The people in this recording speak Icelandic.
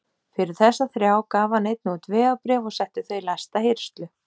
Fyrir þessa þrjá gaf hann einnig út vegabréf og setti þau í læsta hirslu.